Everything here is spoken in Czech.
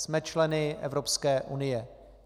Jsme členy Evropské unie.